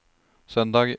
søndag